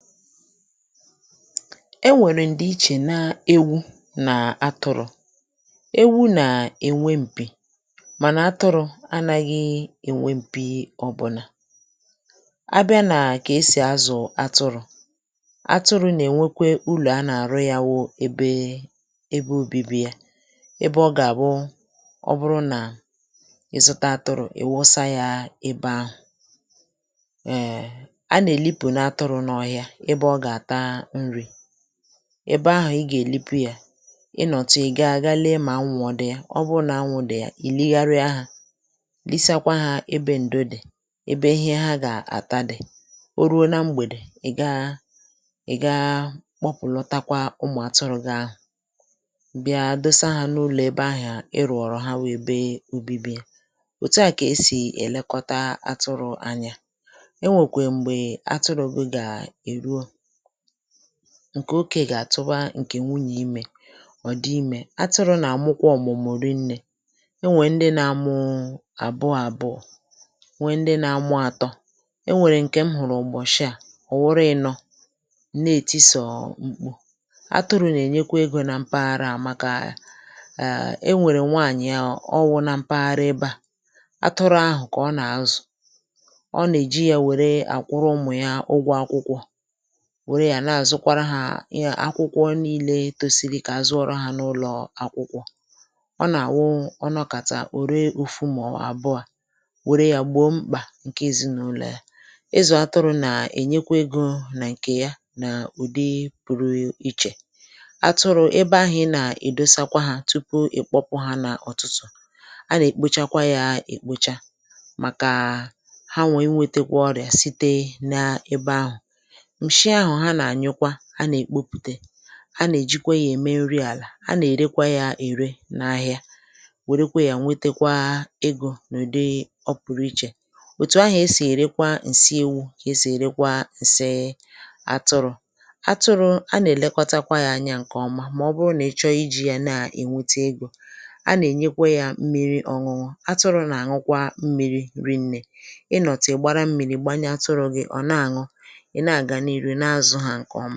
Enwèrè ǹdì ichè nà ewu̇ nà atụrụ̇. Ewu̇ nà a-ènwe m̀pì mànà atụrụ̇ anȧghị̇ ènwe m̀pì ọ̀bụ̀nà. Abịa nà kà esì azụ̀ atụrụ̇, atụrụ̇ nà-ènwekwe ulọ̀ a nà-àrụ ya wu ebe, ebe obibi ya; ebe ọ gà-àbụ ọ bụrụ nà ị̀ zụta atụrụ̇, ị̀ wụsa ya ebe ahụ̀. Um a na- èlipunu atụrụ̇ n’ọhia ebe ọ ga-ataa nri. Ebe ahụ̀ i gà-èlipu yȧ, ị nọ̀tụ̀ ì gaa gaa lee mà anwụ̇ ọ dị̇ a, ọ bụrụ nà anwụ̇ dị̀ ya, ị̀ ligharịa ha, lisakwa hȧ ebe ǹdo dì, ebe ihe ha gà-àta dì. O ruo nȧ mgbèdè, ị̀ gaa ị̀ gaa kpọpụ̀lọtakwa ụmụ̀ atụrụ̇ gi ahụ̀, bịa dosa hȧ n’ụlọ̀ ebe ahụ̀ iròọrọ ha wu ebe obibi ha. Òtu à kà esì èlekọta atụrụ̇ anya. Enwekwe mgbe atụrụ̇ gu gaa-eruo, ǹkè oke gà-àtụba ǹkè nwunyè imė, ọ̀ dị imė. Atụrụ nà-àmụkwa ọ̀mụ̀mụ̀ rinnė; e nwèe ndị na-amụu àbụọ àbụọ, nwèe ndị na-amụ̇ àtọ. E nwèrè ǹkè m hụ̀rụ̀ ụ̀gbọ̀shị à, ọ̀ wụrụ ịnọ̇, m na-ètị sọ̀ọ̀ mkpù. Atụrụ nà-ènyekwa egȯ na mpaghara à maka a um enwèrè nwanyì a ọ wụ̇ na mpaghara ebe à, atụrụ ahụ̀ kà ọ nà-àzụ; ọ nà-èji yȧ wère àkwụrụ ụmụ̀ ya ụgwọ akwụkwọ, wère ya na-àzụkwara hȧ nya akwụkwọ niilė tosi̇ri̇ kà azuọrụ hȧ n’ụlọ̀ akwụkwọ. Ọ nà-àwụ ọ nọkàtà o ree ofu mụ̀ àbụọ̇, wère ya gbo mkpà ǹke èzinàụlọ̀ ya. Ịzụ̀ atụrụ̇ nà-ènyekwa egȯ nà ǹkè ya, n’ụ̀dị pụrụ ichè. Atụrụ̇, ebe ahụ̀ ị na-èdosakwa ha tupu ị̀kpọpụ ha n’ọtụtụ̀, a nà-èkpochakwa ya èkpocha, màkà hanwa i nwėtekwa ọrịà site na ebe ahụ̀. Nshi ahụ̀ ha na-anyụkwa, a na-ekpopute, ha nà-èjikwe yȧ ème nri àlà, ha nà-èrekwa yȧ ère n’ahịa, wèrekwa yȧ nwetekwa egȯ n’udị ọ pụrụ ichè. Òtù ahụ̀ e sì èrekwa ǹsi ewu̇ kà e sì èrekwa ǹsi atụrụ̇. Atụrụ̇.., a nà èlekọtakwa yȧ anyȧ ǹkè ọma mà ọ bụrụ nà ị chọọ iji̇ yȧ na ènwete egȯ. A nà ènyekwa yȧ mmiri ọ̇nụ̇nụ̇; atụrụ̇ nà ànwụkwa mmiri̇ rinne. Ị nọ̀tụ̀ ị gbara mmiri̇ gbanye atụrụ̇ gị̇ ọ̀ na àṅụ, ị na-aga n’ihu na-azù ha nke ọmà.